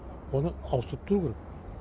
оны ауыстырып тұру керек